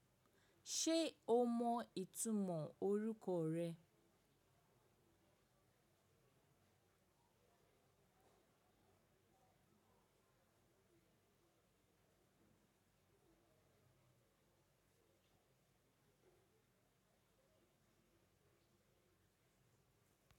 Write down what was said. Ṣe o mọ itumọ orukọ rẹ?